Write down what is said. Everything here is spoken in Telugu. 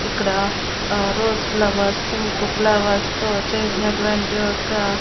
ఇక్కడ ఆ రోజ్ ఫ్లవర్స్ పింక్ ఫ్లవర్స్ తో చేసినటువంటి ఒక.